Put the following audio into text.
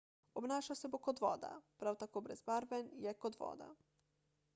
obnašal se bo kot voda prav tako brezbarven je kot voda